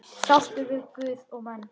Sáttur við guð og menn.